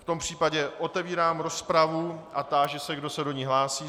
V tom případě otevírám rozpravu a táži se, kdo se do ní hlásí.